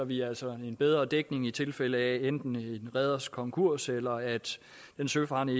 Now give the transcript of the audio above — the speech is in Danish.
vi altså en bedre dækning i tilfælde af enten en reders konkurs eller at en søfarende